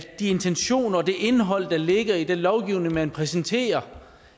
de intentioner og det indhold der ligger i den lovgivning man præsenterer